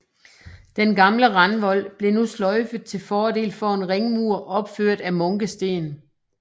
Den gamle randvold blev nu sløjfet til fordel for en ringmur opført af munkesten